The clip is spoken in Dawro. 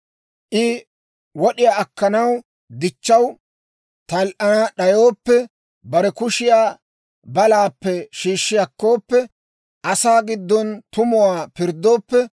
I wod'iyaa akkanaw dichchaw tal"ana d'ayooppe, bare kushiyaa balaappe shiishshi akkooppe, asaa giddon tumuwaa pirddooppe,